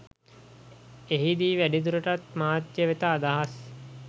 එහිදී වැඩිදුරටත් මාධ්‍ය වෙත අදහස්